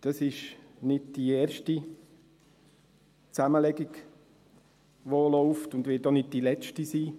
Es ist nicht die erste Zusammenlegung, die läuft, und es wird auch nicht die letzte sein.